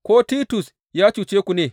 Ko Titus ya cuce ku ne?